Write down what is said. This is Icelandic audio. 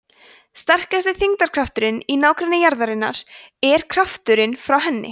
sterkasti þyngdarkrafturinn í nágrenni jarðarinnar er krafturinn frá henni